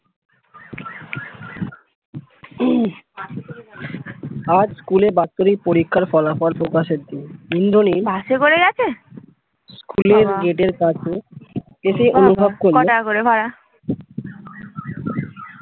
আজ school এ বাচ্চাদের পরীক্ষার ফলাফল প্রকাশ এর দিন ইন্দ্রনীল